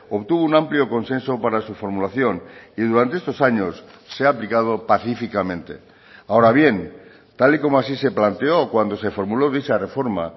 obtuvo un amplio consenso para su formulación y durante estos años se ha aplicado pacíficamente ahora bien tal y como así se planteó cuando se formuló dicha reforma